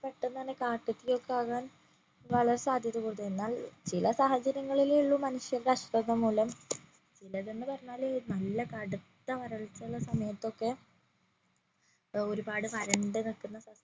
പെട്ടന്ന് തന്നെ കാട്ടുതീ ഒക്കെ ആകാൻ വളരെ സാധ്യത കൂടുതൽ ഉണ്ട് എന്നാൽ ചില സാഹചര്യങ്ങളിൽ ഉള്ളു മനുഷ്യന്റെ അശ്രദ്ധ മൂലം ചിലതെന്ന് പറഞ്ഞാല് നല്ല കടുത്ത വരൾച്ച ഉള്ള സമയത്തൊക്കെ ഒരുപാട് വരണ്ട നിക്കുന്ന സമയത്